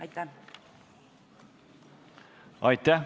Aitäh!